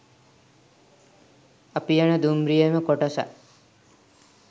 අපි යන දුම්රියේම කොටසක්